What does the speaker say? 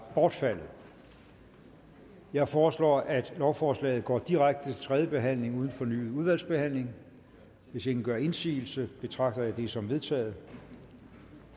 bortfaldet jeg foreslår at lovforslaget går direkte til tredje behandling uden fornyet udvalgsbehandling hvis ingen gør indsigelse betragter jeg det som vedtaget